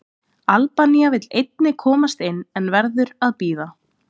Albanía vill einnig komast inn, en verður að bíða.